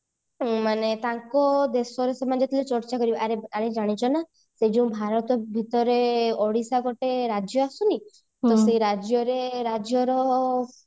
ଉଁ ମାନେ ତାଙ୍କ ଦେଶରେ ସେମାନେ ଯେତେବେଳେ ଚର୍ଚ୍ଚା କରିବେ ଆରେ ଜାଣିଛ ନା ସେଇ ଯୋଉ ଭାରତ ଭିତରେ ଓଡିଶା ଗୋଟେ ରାଜ୍ୟ ଆସୁନି ତ ସେଇ ରାଜ୍ୟରେ ସେ ରାଜ୍ୟର